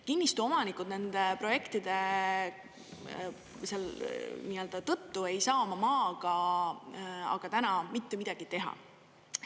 Kinnistuomanikud nende projektide tõttu ei saa oma maaga aga täna mitte midagi teha.